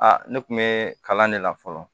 Aa ne kun bɛ kalan de la fɔlɔ